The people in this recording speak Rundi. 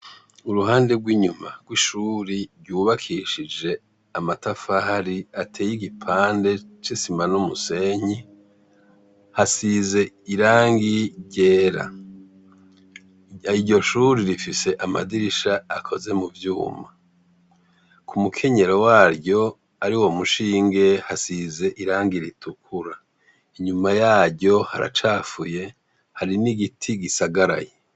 Uruhande rw'inyuma rw'ishuri ryubakishije amatafahari ateye igipande c'isima n'umusenyi ,hasize irangi ryera ,iryo shuri rifise amadirisha akoze mu vyuma, ku mukenyero waryo ,ari wo mushinge hasize irangi ritukura inyuma yaryo haracafuye hari n'igiti gisagaraye.